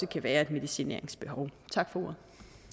kan være et medicineringsbehov tak for ordet